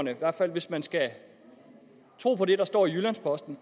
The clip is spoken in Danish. hvis man skal tro på det der står i jyllands posten